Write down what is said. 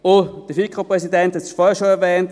Und der FiKo-Präsident hat es bereits erwähnt: